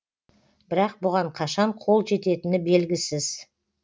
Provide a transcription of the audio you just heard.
бірақ бұған қашан қол жететіні белгісіз